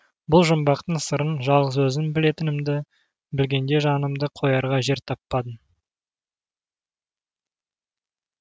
бұл жұмбақтың сырын жалғыз өзім білетінімді білгенде жанымды қоярға жер таппадым